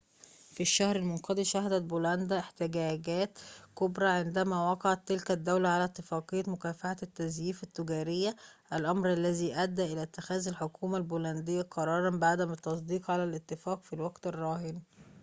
في الشهر المنقضي شهدت بولندا احتجاجات كبرى عندما وقعت تلك الدولة على اتفاقية مكافحة التزييف التجارية الأمر الذي أدى إلى اتخاذ الحكومة البولندية قراراً بعدم التصديق على الاتفاق في الوقت الراهن